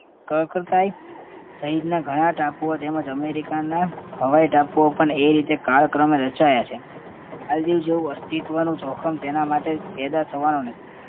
ક્રકરથાઈ સહીતના ઘણા ટાપુઓ તેમજ અમેરીકાના હવાઈ ટાપુઓ પણ એ રીતે કાળક્રમે રચાયા છે. માલદીવ જેવું અસ્તિત્વનું જોખમ તેના માટે પેદા થવાનું નથી